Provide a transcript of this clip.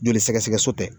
Joli sɛgɛsɛgɛ so tɛ